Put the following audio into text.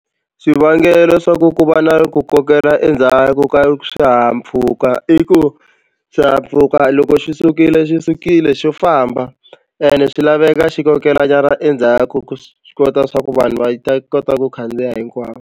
Xivangelo xa ku ku va na ku kokela endzhaku ka swihahampfhuka i ku xihahampfhuka loko xi sukile xi sukile xo famba ene swi laveka xi kokelanyana endzhaku swi kota swa ku vanhu va ta kota ku khandziya hinkwavo.